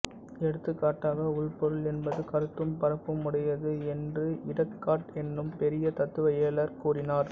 எடுத்துக்காட்டாக உள்பொருள் என்பது கருத்தும் பரப்பும் உடையது என்று இடேக்கார்ட் என்னும் பெரிய தத்துவ இயலார் கூறினர்